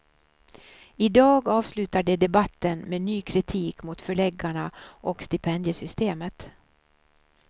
I dag avslutar de debatten med ny kritik mot förläggarna och stipendiesystemet.